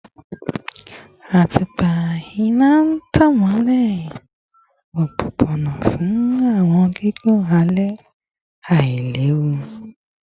Atupa ina n tan imọlẹ opopona fun awọn gigun alẹ ailewu